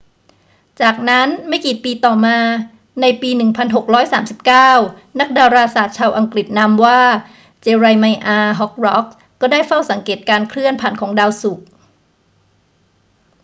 จากนั้น ไม่กี่ปีต่อมาในปี 1639 นักดาราศาสตร์ชาวอังกฤษนามว่า เจเรไมอาห์ ฮอร์ร็อกส์ ก็ได้เฝ้าสังเกตการเคลื่อนผ่านของดาวศุกร์